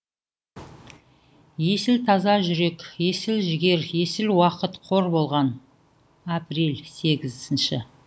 есіл таза жүрек есіл жігер есіл уақыт қор болған апрель сегізінші